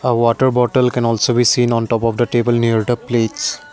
water bottle can also be seen on top of the table near the plates.